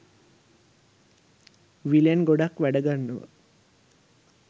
විලෙන් ගොඩක් වැඩ ගන්නවා.